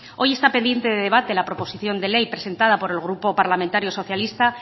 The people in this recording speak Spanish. hoy está pendiente de debate la proposición de ley presentada por el grupo parlamentario socialista